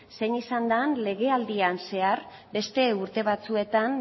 zein izan den legealdian zehar beste urte batzuetan